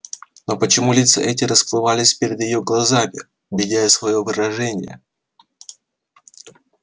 но почему лица эти расплывались перед её глазами меняя своё выражение